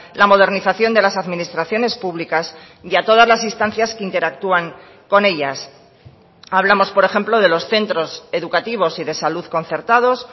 la modernización de las administraciones públicas y a todas las instancias que interactúan con ellas hablamos por ejemplo de los centros educativos y de salud concertados